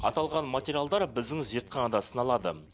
аталған материалдар біздің зертханада сыналады